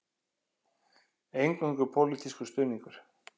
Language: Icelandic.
Eingöngu pólitískur stuðningur